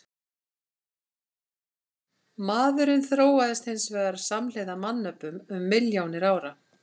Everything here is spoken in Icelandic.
Maðurinn þróaðist hins vegar samhliða mannöpum um milljónir ára.